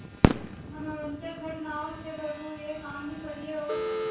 मनोरंजक घटनाओं से भरपूर यह कहानी पढ़िए और